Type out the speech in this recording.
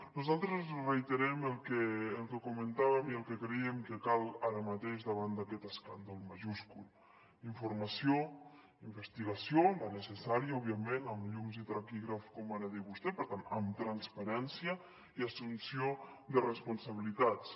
nosaltres reiterem el que comentàvem i el que creiem que cal ara mateix davant d’aquest escàndol majúscul informació investigació la necessària òbviament amb llums i taquígrafs com ara deia vostè per tant amb transparència i assumpció de responsabilitats